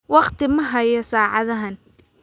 Wakhti ma hayo saacadahan